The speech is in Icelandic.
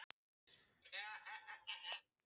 Velta honum upp úr tjöru og fiðri!